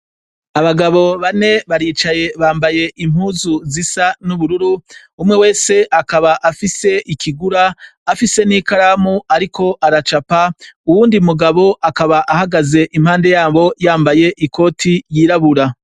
Abagabo bane baricaye bambaye impuzu zisa n’ubururu, umwe wese akaba afise ikigura afise n’ikaramu ariko aracapa , uwundi mugabo akaba ahagaze impande yabo yambaye ikoti y’irabura.